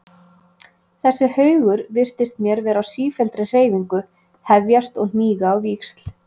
Þessi haugur virtist mér vera á sífelldri hreyfingu, hefjast og hníga á víxl.